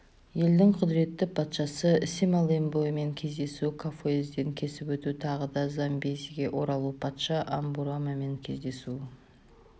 елдің құдіретті патшасы семалембуэмен кездесу кафуэден кесіп өту тағы да замбезиге оралу патша амбурумамен кездесу